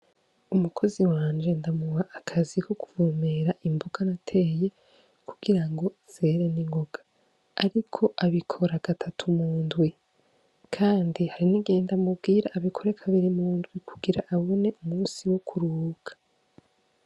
Umukozi wanje ndamuba akazi ko kubumera imbuga nateye kugira ngo zere n'ingoga, ariko abikora gatatu mu ndwi, kandi hari nigenda amubwira abikorekabiri mu ndwi kugira abone umusi wo kuruka.